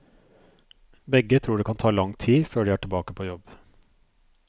Begge tror det kan ta lang tid før de er tilbake på jobb.